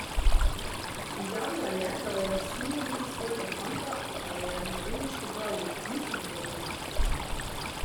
Izjavila je, da v Jasminu vidi svojega fanta, a jo je mladenič popravil: "Nisem tvoj fant.